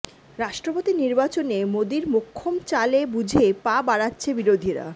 রাষ্ট্রপতি নির্বাচনে মোদীর মোক্ষম চালে বুঝে পা বাড়াচ্ছে বিরোধীরা